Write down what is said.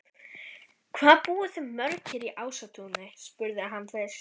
Hvað búið þið mörg hér í Ásatúni? spurði hann fyrst.